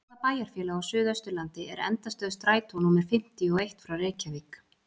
Hvaða bæjarfélag á suðausturlandi er endastöð strætó númer fimmtíu og eitt frá Reykjavík?